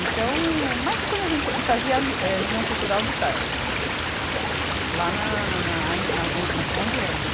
Então, mas quando a gente, e fazia ali, eh União Cultural de tarde, lá na, na, aí, na on, na, onde é ainda?